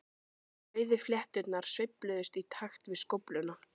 Rauðu flétturnar sveifluðust í takt við skófluna.